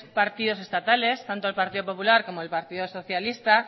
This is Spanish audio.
partidos estatales tanto el partido popular como el partido socialista